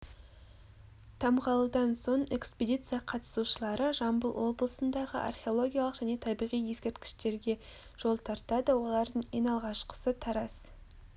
тамғалыдан соң экспедиция қатысушылары жамбыл облысындағы археологиялық және табиғи ескерткіштерге жол тартады олардың ең алғашқысы тараз